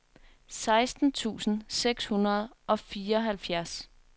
seksten tusind seks hundrede og fireoghalvfjerds